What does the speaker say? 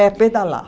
É, pedalar.